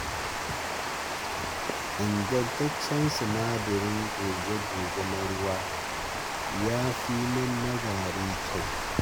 Ingantaccen sinadarin goge-goge na ruwa yafi mun na gari kyau.